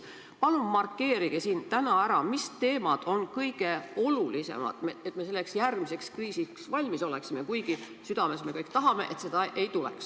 Palun markeerige siin täna ära, mis teemad on kõige olulisemad, et me selleks järgmiseks kriisiks valmis oleksime, kuigi südames me kõik tahame, et seda ei tuleks.